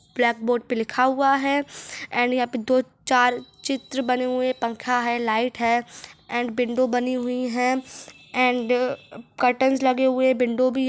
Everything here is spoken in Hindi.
ब्लैक बोर्ड पे लिखा हुआ हैं एण्ड यहाँ दो चार चित्र बने हुए हैं पंखा हैं लाइट एण्ड बिन्दु बनी हुई हैं एण्ड काउटंस लगे हुए हैं बिन्दु भी--